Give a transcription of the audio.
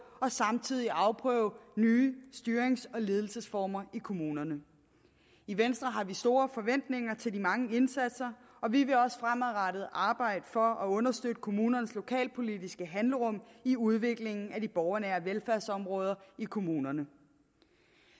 og samtidig afprøve nye styrings og ledelsesformer i kommunerne i venstre har vi store forventninger til de mange indsatser og vi vil også fremadrettet arbejde for at understøtte kommunernes lokalpolitiske handlerum i udviklingen af de borgernære velfærdsområder i kommunerne